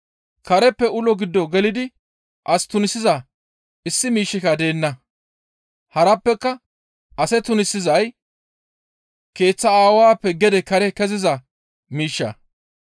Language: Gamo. Kareppe ulo gido gelidi as tunisiza issi miishshika deenna; harappeka ase tunisizay keeththa aawappe gede kare keziza miishsha.